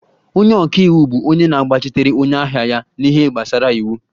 Onye ọka iwu bụ onye na-agbachitere onye ahịa ya n'ihe gbasara iwu